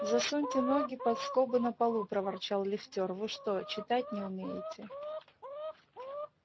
засуньте ноги под скобы на полу проворчал лифтёр вы что читать не умеете